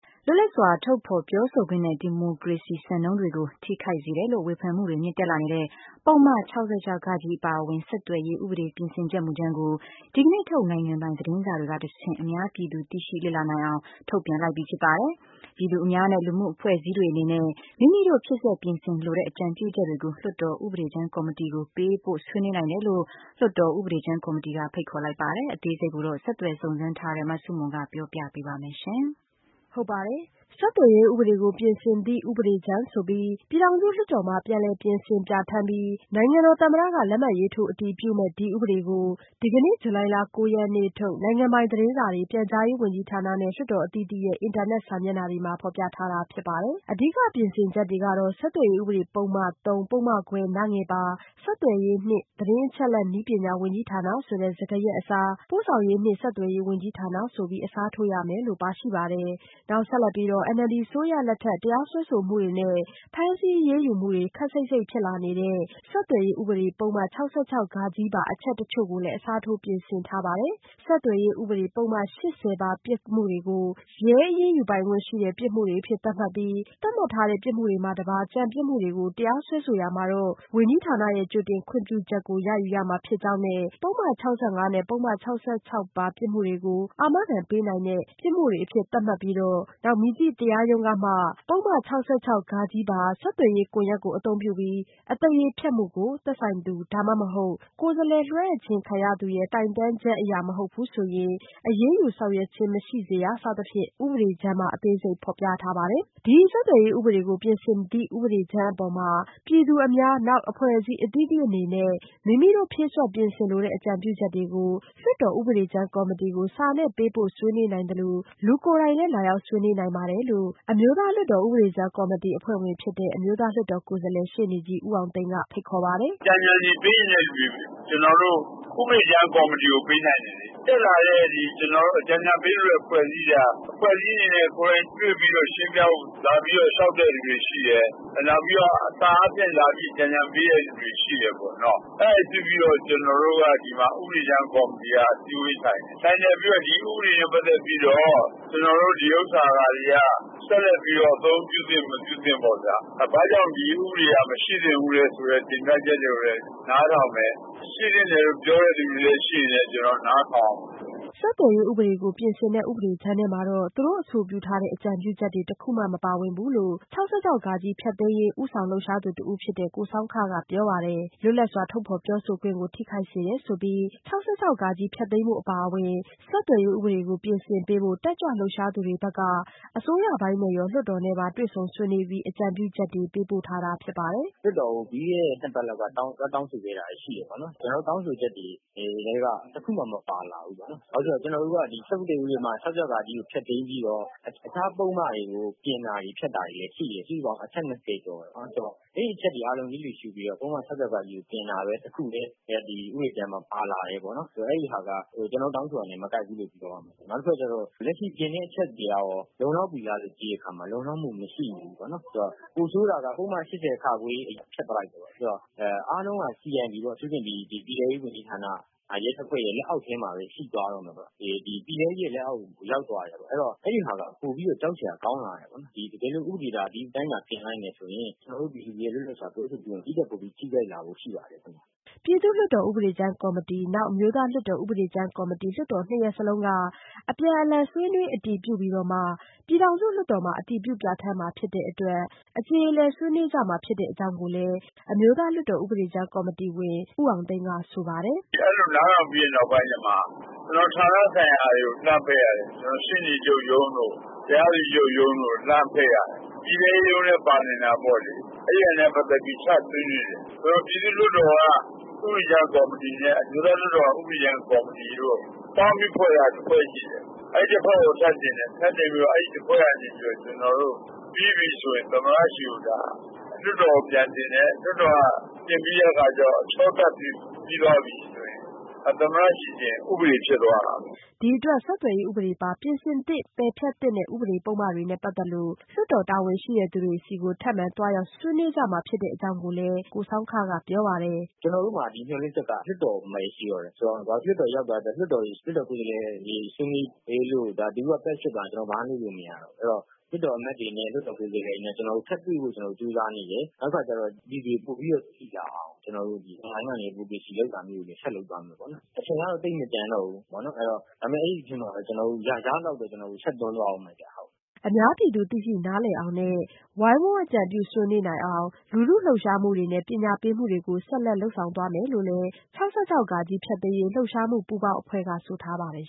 လွတ်လပ်စွာထုတ်ဖော်ပြောဆိုခွင့်နဲ့ ဒီမိုကရေစီစံနှုန်းတွေကိုထိခိုက်စေတယ်လို့ ဝေဖန်မှုတွေမြင့်တက်လာနေတဲ့ ပုဒ်မ ၆၆ဃ အပါအဝင် ဆက်သွယ်ရေးဥပဒေပြင်ဆင်ချက်မူကြမ်းကို ဒီကနေ့ထုတ် နိုင်ငံပိုင်သတင်းစာတွေကတဆင့် အများပြည်သူသိရှိလေ့လာနိုင်အောင် ထုတ်ပြန်လိုက်ပြီဖြစ်ပါတယ်။ ပြည်သူအများနဲ့ လူမှုအဖွဲ့အစည်းတွေအနေနဲ့ မိမိတို့ဖြည့်စွက်ပြင်ဆင်လိုတဲ့ အကြံပြုချက်တွေကို လွှတ်တော်ဥပဒေကြမ်းကော်မတီကို ပေးပို့ဆွေးနွေးနိုင်တယ်လို့ လွှတ်တော်ဥပဒေကြမ်းကော်မတီက ဖိတ်ခေါ်လိုက်ပါတယ်။ အသေးစိတ် ဆက်သွယ်စုံစမ်းထားတဲ့ မဆုမွန် ပြောပြပါမယ်။ ဆက်သွယ်ရေးဥပဒေကိုပြင်ဆင်သည့်ဥပဒေကြမ်းဆိုပြီး ပြည်ထောင်စုလွှတ်တော်မှာ ပြန်လည်ပြင်ဆင်ပြဌာန်းပြီး နိုင်ငံတော်သမ္မတ လက်မှတ်ရေးထိုးအတည်ပြုမယ့် ဥပဒေကို ဒီကနေ့ ဇူလိုင်လ ၉ရက်နေ့ထုတ် နိုင်ငံပိုင်သတင်းစာတွေ၊ ပြန်ကြားရေးဝန်ကြီးဌာနနဲ့၊ လွှတ်တော်အသီးသီးရဲ့ အင်တာနက်စာမျက်နှာတွေမှာ ဖော်ပြထားတာဖြစ်ပါတယ်။ အဓိကပြင်ဆင်ချက်တွေကတော့-ဆက်သွယ်ရေးဥပဒေပုဒ်မ ၃ ပုဒ်မခွဲ ပါ ဆက်သွယ်ရေးနှင့် သတင်းအချက်အလက်နည်းပညာဝန်ကြီးဌာနဆိုတဲ့စကားရပ်အစား- ပို့ဆောင်ရေးနှင့်ဆက်သွယ်ရေးဝန်ကြီးဌာနဆိုပြီး အစားထိုးရမယ်လို့ပါရှိပါတယ်။ နောက်ဆက်လက်ပြီးတော့ NLD အစိုးရလက်ထက် တရားစွဲဆိုမှုတွေနဲ့ ဖမ်းဆီးအရေးယူမှုတွေ ခပ်စိပ်စိပ်ဖြစ်လာနေတဲ့ ဆက်သွယ်ရေးဥပဒေပုဒ်မ ၆၆ ပါ အချက်တချို့ကိုလည်း အစားထိုးပြင်ဆင်ထားပါတယ်။ ဆက်သွယ်ရေးဥပဒေပုဒ်မ ၈၀ပါ ပြစ်မှုတွေကို ရဲအရေးယူပိုင်ခွင့်ရှိတဲ့ပြစ်မှုများအဖြစ် သတ်မှတ်ပြီး သတ်မှတ်ထားတဲ့ပြစ်မှုတွေမှတပါး ကျန်ပြစ်မှုတွေကို တရားစွဲဆိုရာမှာတော့ ဝန်ကြီးဌာနရဲ့ ကြိုတင်ခွင့်ပြုချက်ကို ရယူမှာဖြစ်ကြောင်းနဲ့ ပုဒ်မ ၆၅နဲ့ ပုဒ်မ ၆၆ ပါ ပြစ်မှုတွေကို အာမခံပေးနိုင်တဲ့ပြစ်မှုများအဖြစ် သတ်မှတ်ပြီး မည်သည့်တရားရုံးမျှ ပုဒ်မ ၆၆ ဃပါ ဆက်သွယ်ရေးကွန်ရက်ကိုအသုံးပြုပြီး အသရေဖျက်မှုကို သက်ဆိုင်သူ ဒါမှမဟုတ် ကိုယ်စားလှယ်လွှဲအပ်ခြင်းခံရသူရဲ့ တိုင်တန်းချက်အရမဟုတ်ဘူးဆိုရင် အရေးယူဆောင်ရွက်ခြင်းမရှိစေရ စသဖြင့် ဥပဒေကြမ်းမှာ အသေးစိတ် ဖော်ပြထားပါတယ်။ ဒီဆက်သွယ်ရေးဥပဒေကိုပြင်ဆင်သည့်ဥပဒေကြမ်းအပေါ် ပြည်သူအများ နောက်အဖွဲ့အစည်းအသီးသီးအနေနဲ့ မိမိတို့ဖြည့်စွက်ပြင်ဆင်လိုတဲ့အကြံပြုချက်တွေကို လွှတ်တော်ဥပဒေကြမ်းကော်မတီကို စာနဲ့ပေးပို့ဆွေးနွေးနိုင်သလို လူကိုယ်တိုင်လည်း လာရောက်ဆွေးနွေးနိုင်ပါတယ်လို့ အမျိုးသားလွှတ်တော်ဥပဒေကြမ်းကော်မတီအဖွဲ့ဝင်ဖြစ်တဲ့ အမျိုးသားလွှတ်တော်ကိုယ်စားလှယ် ရှေ့နေကြီးဦးအောင်သိန်းက ဖိတ်ခေါ်ပါတယ်။ “အကြံဉာဏ်တွေပေးချင်တဲ့လူတွေ ကျနော်တို့ ဥပဒေကြမ်းကော်မတီ ကိုပေးနိုင်ပါတယ်။ တက်လာတဲ့ အကြံဉာဏ်တွေပေးတဲ့အဖွဲ့အစည်းက အဖွဲ့အစည်းအနေနဲ့ ကိုယ်တိုင် တွေ့ပြီးတော့ ရှင်းပြဖို့ လာပြီးတော့ လျှောက်တဲ့လူတွေရှိတယ်။ နောက်ပြီးတော့ စာအားဖြင့်လည်း အကြံဉာဏ်တွေပေးတဲ့လူတွေလည်းရှိတယ်ပေါ့နော် ။ အဲဒါကိုကြည့်ပြီးတော့ ဒီမှာ ကျနော်တို့ ဥပဒေကြမ်းကော်မတီက အစည်းအဝေးထိုင်တယ်။ ထိုင်ပြီးတော့ ဒီဥပဒေနဲ့ ပတ်သက်ပြီးတော့ ကျနော်တို့ ဒီဟာတွေက ဆက်လက်ပြီးတော့ အသုံးပြုသင့် မပြုသင့်ပေါ့ဗျာ ဘာကြောင့် ဒီဥပဒေက မရှိသင့်ဘူးဆိုတဲ့ တင်ပြချက်တွေကိုလည်း နားထောင်မယ်။ ရှိသင့်တယ်လို့ ပြောတဲ့လူတွေကိုလည်း ကျနော်တို့ နားထောင်ရမှာပေါ့ဗျာ။” ဆက်သွယ်ရေးဥပဒေကို ပြင်ဆင်တဲ ့ဥပဒေကြမ်းထဲမှာတော့ သုူတို့အဆိုပြုထားတဲ့ အကြံပြုချက်တွေ တခုမှ မပါဝင်ဘူးလို့ ၆၆ ဖျက်သိမ်း ဦးဆောင်လှုပ်ရှားသူတဦးဖြစ်တဲ့ ကိုဆောင်းခက ပြောပါတယ်။ လွတ်လပ်စွာ ထုတ်ဖော်ပြောဆိုခွင့်ကို ထိခိုက်စေတယ်ဆိုပြီး ၆၆ ဖျက်သိမ်းဖို့အပါအဝင် ဆက်သွယ်ရေးဥပဒေကို ပြင်ဆင်ပေးဖို့ တတ်ကြွလှုပ်ရှားသူတွေဘက်က အစိုးရပိုင်းနဲ့ရော လွှတ်တော်နဲ့ပါ တွေ့ဆုံဆွေးနွေးပြီး အကြံပြုချက်တွေ ပေးပို့ထားတာပါ။ “လွှတ်တော်ကို ပြီးခဲ့တဲ့ ၂ ပတ်လောက်က တောင်းဆိုခဲ့တာတွေရှိတယ်ပေါ့နော်။ ကျနော်တို့တောင်းဆိုချက်တွေထဲက တခုမှ မပါလာဘူး ဘာဖြစ်လို့လဲဆိုတော့ ကျနော်တို့က ၆၆ ဖျက်သိမ်းဖို့၊ အခြားပုဒ်မတွေကိုလည်း ပြင်တာတွေ ဖျက်တာတွေလည်းရှိတယ် စုစုပေါင်းအချက် ၂၀ ကျော်တယ်။ အဲဒီအချက်တွေကို လစ်လှူရှု့ပြီးတော့ ပုဒ်မ ၆၆ ကိုတင်တာပဲ တခုပဲ ဒီဥပဒေကြမ်း ထဲမှာ ပါလာတယ်ပေါ့နော် ဆိုတော့ အဲဒီဟာက ကျနော်တို့ တောင်းဆိုတာနဲ့ မကိုက်ဘူးလို့ပြောရမှာပေါ့နော်။ နောက်တခုက ကျနော်တို့ လက်ရှိပြင်တဲ့အချက်တွေက ကျနေ်ာတို့ လုံလောက်ပြီလားလို့ ကြည့်တဲ့အခါမှာ လုံလောက်မှုမရှိဘူးပေါ့နော်၊ ပိုဆိုးတာက ပုဒ်မ ၈၀ ကိုဖျက်လိုက်တယ်ပေါ့နော်။ အားလုံးက အထူးသဖြင့် ပြည်ထဲရေးဝန်ကြီးဌာန ရဲတပ်ဖွဲ့ရဲ့ လက်အောက်မှာပဲ ရှိသွားတော့မယ်ပေါ့နော်။ ပြည်ထဲရေးလက်အောက်ကို ရောက်သွားတယ်ပေါ့နော်။ အဲဒီတော့ အဲဒါက ပိုပြီးတော့ ကြောက်စရာကောင်းလာတယ်ပေါ့နော်။ တကယ်လို့ ဥပဒေသာ ဒီအတိုင်းတင်လိုက်မယ်ဆိုရင် ကျနော်တို့ ပြည်သူတွေရဲ့ လွတ်လပ်စွာပြောဆိုခွင့်ကို ဒီထက် ပိုပြီးထိခိုက်လာဖို့ ရှိပါတယ်ခင်ဗျ။” ပြည်သူ့လွှတ်တော် ဥပဒေကြမ်းကော်မတီ နောက် အမျိုးသားလွှတ်တော်ဥပဒေကြမ်းကော်မတီ လွှတ်တော်နှစ်ရပ်စလုံးက အပြန်လှန်ဆွေးနွေးအတည်ပြုပြီးမှ ပြည်ထောင်စုလွှတ်တော်မှာ အတည်ပြုပြဌာန်းမှာဖြစ်တဲ့အတွက် အကြေအလည် ဆွေးနွေးကြမှာဖြစ်တဲ့အကြောင်း အမျိုးသားလွှတ်တော်ဥပဒေကြမ်းကော်မတီအဖွဲ့ဝင်ဦးအောင်သိန်းကဆိုပါတယ်။ “အဲလိုနားထောင်ပြီးတဲ့နောက်ပိုင်းကြမှ ဌာနဆိုင်ရာတွေကို လှမ်းဖိတ်ရတယ်၊ ကျနော်တို့ ရှေ့နေချုပ်ရုံးတို့ တရားသူကြီးချုပ်ရုံးတို့ကို လှမ်းဖိတ်ရတယ်။ ပြည်ထဲရေးရုံးလည်း ပါနိုင်တာပေါ့လေ။ အဲဒါနဲ့ ပတ်သက်ပြီး ချဆွေးနွေးတယ်။ ပြည်သူ့လွှတ်တော်က ဥပဒေကြမ်းကော်မတီနဲ့ အမျိုးသားလွှတ်တော်က ဥပဒေကြမ်းကော်မတီတို့ ပေါင်းပြီးဖွဲ့ထားတာ တဖွဲ့ရှိတယ် အဲဒီတဖွဲ့ကို ထပ်တင်တယ်။ တင်လို့ အဲဒီ ၁ ဖွဲ့ကနေပြီးတော့ ပြီးပြီဆိုရင် ကျနော်တို့ လွှတ်တော်ကို ပြန်တင်တယ်။ လွှတ်တော်က တင်ပြီးတဲ့အခါကျတော့ အချောသတ်ပြီးသွားပြီဆိုရင် သမ္မတကိုတင်ရင် ဥပဒေဖြစ်သွားရော။” ဒီအတွက် ဆက်သွယ်ရေးဥပဒေပါ ပြင်ဆင်သင့် ပယ်ဖျက်သင့်တဲ့ ဥပဒေပုဒ်မတွေနဲ့ပတ်သက်လို့ လွှတ်တော်တာဝန်ရှိသူတွေဆီကို ထပ်မံသွားရောက်ဆွေးနွေးမှာဖြစ်တယ်လို့ ကိုဆောင်းခကပြောပါတယ်။ “ကျနော်တို့မှာ မျှော်လင့်ချက်က လွှတ်တော်မှာပဲ ရှိတော့တယ်။ လွှတ်တော်ကို ရောက်သွားတဲ့အချိန် လွှတ်တော်ကိုယ်စားလှယ်တွေ ဆွေးနွေးအတည်ပြုပြီးသွားရင် ကျနော်တို့က ဘာမှလုပ်လို့မရတော့ဘူး အဲဒီတော့ လွှတ်တော် အမတ်တွေ၊ ကိုယ်စားလှယ်တွေနဲ့ ထပ်တွေ့ဖို့ ကျနော်တို့ ကြိုးစားနေတယ်။ နောက်တခုက ကျတော့ လူတွေပိုပြီးတော့ သိလာအောင် ကျနော်တို့ Online ကနေ advocacy လုပ်တာမျိုးတွေလည်း ဆက်လုပ်သွားမယ်ပေါ့နော်။ အချိန်ကတော့ သိပ်မကျန်တော့ဘူးပေါ့နော်။ ဒါပေမယ့် အဲဒီအတွင်းမှာပဲ ကျနော်တို့ ရသလောက်ဆက်ပြီးတော့ တွန်းလုပ်ရမယ်ခင်ဗျ။” အများပြည်သူသိရှိနားလည်အောင်နဲ့ ဝိုင်းဝန်းအကြံပြုဆွေးနွေးနိုင်အောင် လူထုလှုပ်ရှားမှုတွေနဲ့ပညာပေးမှုတွေ ဆက်လက်လုပ်ဆောင်သွားမယ်လို့လည်း ၆၆ဃ ဖျက်သိမ်းရေးလှုပ်ရှားမှုပူးပေါင်းအဖွဲ့ကတော့ဆိုထားပါတယ်